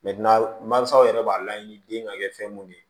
mansaw yɛrɛ b'a laɲini den ka kɛ fɛn mun de ye